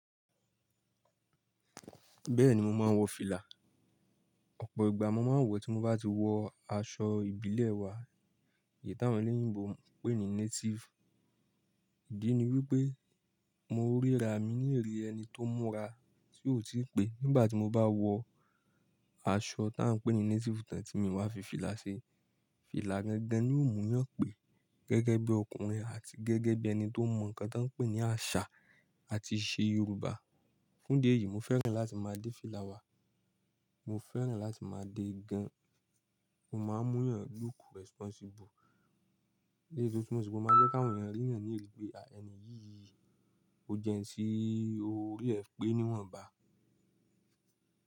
Bẹ́ẹ̀ni mo máa ń wọ fìlà. Ọ̀pọ̀ ìgbà mo máa ń wọ̀ tí mo bá ti wọ aṣọ ìbílẹ̀ wa, èyí tí àwọn eléyìínbo ń pè ní native. Ìdí ni wípé mo ríra mi ní ìrí ẹni tó múra tí ó ti pé nígbà tí mo bá wọ aṣọ tí à ń pè ní native tán tí mi wá fi fìlà ṣe. Fìlà gangan ni ó múyàn pé gẹ́gẹ́ bí ọkùnrin àti gẹ́gẹ́ bí ẹni tó mọ nǹkan tí wọ́n ń pè ní àṣà àti ìṣe Yorùbá. Fún díẹ̀ yìí mo fẹ́ràn láti máa dé fìlà wa, mo fẹ́ràn láti máa dé gan. O máa ń múyàn look responsible. Eléyi tún tu mo sì pé ò mo máa jẹ́ kí àwọn ènìyàn rí èèyàn ní irí pé ẹni yìí ó jẹ́ ẹni tí óri ee pé níwọ̀nba.